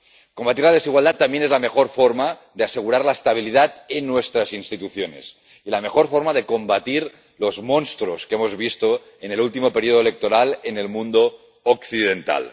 Combatir la desigualdad también es la mejor forma de asegurar la estabilidad en nuestras instituciones y la mejor forma de combatir los monstruos que hemos visto en el último periodo electoral en el mundo occidental.